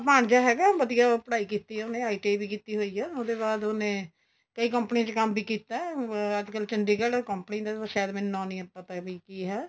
ਭਾਣਜਾ ਹੈਗਾ ਉਹਨੇ ਵਧੀਆ ਪੜ੍ਹਾਈ ਕੀਤੀ ਏ ਉਨੇ ITI ਵੀ ਕੀਤੀ ਹੋਈ ਏ ਉਹਦੇ ਬਾਅਦ ਉਹਨੇ ਕਈ company ਚ ਕੰਮ ਵੀ ਕੀਤਾ ਅੱਜਕਲ ਚੰਡੀਗੜ੍ਹ company ਦਾ ਸਾਇਦ ਮੈਨੂੰ ਨਾਮ ਨੀਂ ਪਤਾ ਵੀ ਕੀ ਹੈ